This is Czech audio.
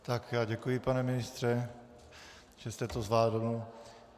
Tak já děkuji, pane ministře, že jste to zvládl.